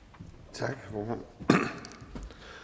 tak